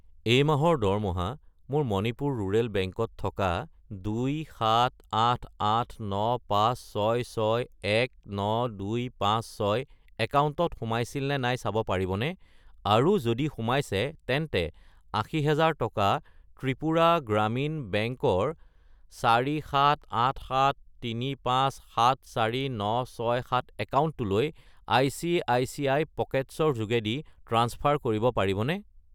এই মাহৰ দৰমহা মোৰ মণিপুৰ ৰুৰেল বেংক ত থকা 2788956619256 একাউণ্টত সোমাইছিল নে নাই চাব পাৰিবনে, আৰু যদি সোমাইছে তেন্তে 80000 টকা ত্ৰিপুৰা গ্ৰামীণ বেংক ৰ 47873574967 একাউণ্টটোলৈ আই.চি.আই.চি.আই. পকেটছ্‌ ৰ যোগেদি ট্ৰাঞ্চফাৰ কৰিব পাৰিবনে?